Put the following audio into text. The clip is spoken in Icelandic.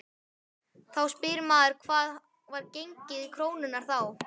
Þá spyr maður hvað var gengið krónunnar þá?